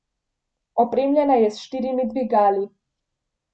Opremljena je s štirimi dvigali.